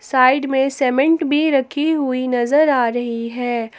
Side में cement भी रखी हुई नजर आ रही है।